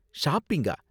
ஷாப்பிங்கா?